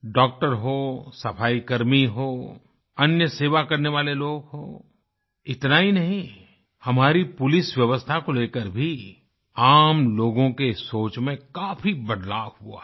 doctor हों सफाईकर्मी हों अन्य सेवा करने वाले लोग हों इतना ही नहीं हमारी पुलिसव्यवस्था को लेकर भी आम लोगों की सोच में काफ़ी बदलाव हुआ है